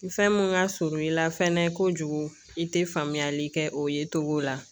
Fɛn mun ka surun i la fɛnɛ kojugu i tɛ famuyali kɛ o ye cogo la